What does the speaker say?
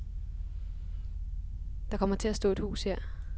Der kommer til at stå et hus her.